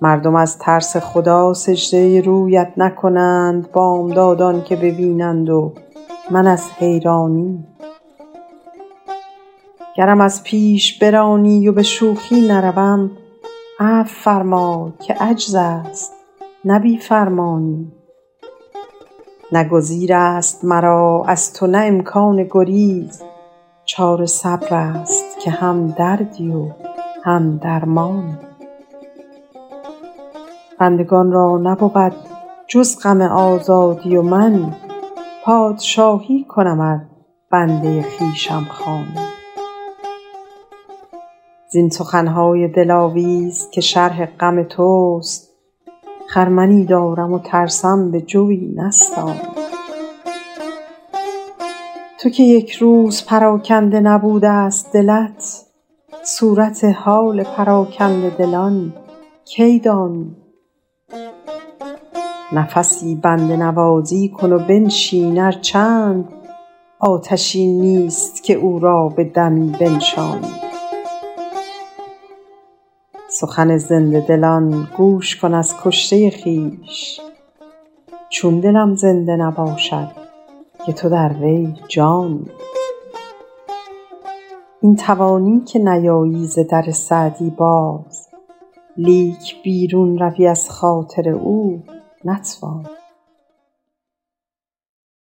مردم از ترس خدا سجده رویت نکنند بامدادت که ببینند و من از حیرانی گرم از پیش برانی و به شوخی نروم عفو فرمای که عجز است نه بی فرمانی نه گزیر است مرا از تو نه امکان گریز چاره صبر است که هم دردی و هم درمانی بندگان را نبود جز غم آزادی و من پادشاهی کنم ار بنده خویشم خوانی زین سخن های دلاویز که شرح غم توست خرمنی دارم و ترسم به جوی نستانی تو که یک روز پراکنده نبوده ست دلت صورت حال پراکنده دلان کی دانی نفسی بنده نوازی کن و بنشین ار چند آتشی نیست که او را به دمی بنشانی سخن زنده دلان گوش کن از کشته خویش چون دلم زنده نباشد که تو در وی جانی این توانی که نیایی ز در سعدی باز لیک بیرون روی از خاطر او نتوانی